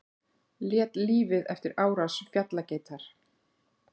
Lét lífið eftir árás fjallageitar